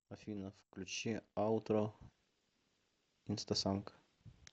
афина включи аутро инстасамка